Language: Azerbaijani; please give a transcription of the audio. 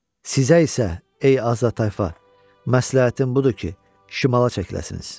Sizə isə, ey azad tayfa, məsləhətim budur ki, şimala çəkiləsiniz.